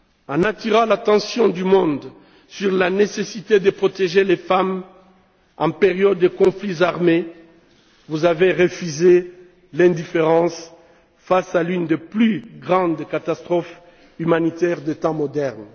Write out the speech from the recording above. En attirant l'attention du monde sur la nécessité de protéger les femmes en période de conflits armés, vous avez refusé l'indifférence face à l'une des plus grandes catastrophes humanitaires des temps modernes.